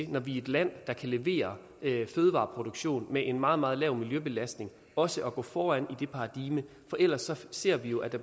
når vi er et land der kan levere fødevareproduktion med en meget meget lav miljøbelastning også at gå foran i det paradigme for ellers ser vi jo at